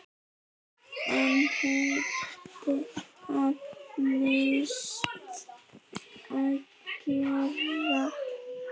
Enn neitar Mast að greiða.